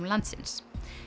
landsins